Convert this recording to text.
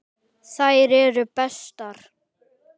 Þær eru bestar.